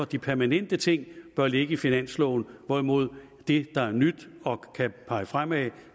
de permanente ting ligge i finansloven hvorimod det der er nyt og kan pege fremad